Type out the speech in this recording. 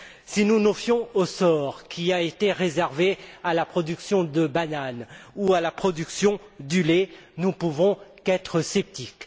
Si nous nous fions au sort qui a été réservé à la production de bananes ou à la production du lait, nous ne pouvons qu'être sceptiques.